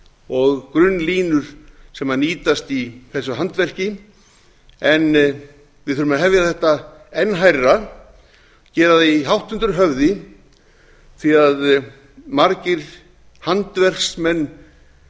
og grunnlínur sem nýtast í þessu handverki en við þurfum að hefja þetta enn hærra gera því hátt undir höfði því margir handverksmenn